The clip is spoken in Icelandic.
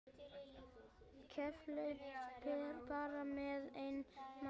Keflavík bara með einn mann?